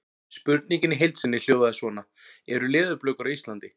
Spurningin í heild sinni hljóðaði svona: Eru leðurblökur á Íslandi?